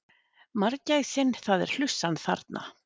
Margæsin það er hlussan þarna.